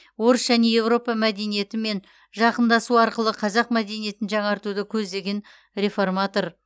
орыс және еуропа мәдениетімен жақындасу арқылы қазақ мәдениетін жаңартуды көздеген реформатор